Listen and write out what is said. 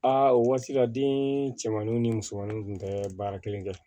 Aa o waati la den cɛmanninw ni musomanninw kun tɛ baara kelen kɛ